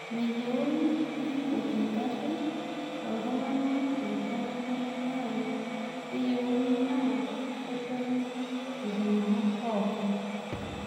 Meyieuni niput igarin oltung'ana iltung'ana naa keyieuni naa ketoni ilntung'ana pookin